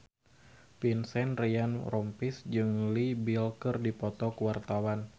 Vincent Ryan Rompies jeung Leo Bill keur dipoto ku wartawan